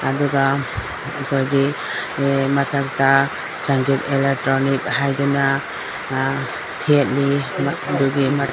ꯑꯗꯨꯒ ꯑꯩꯒꯣꯢꯒꯤ ꯑꯢ ꯃꯊꯛꯇ ꯁꯡꯒꯦꯠ ꯑꯦꯂꯦꯇ꯭ꯌꯣꯅꯤꯛꯁ ꯍꯥꯢꯗꯨꯅ ꯑ ꯊꯦꯠꯂꯤ ꯑꯗꯨꯒꯤ --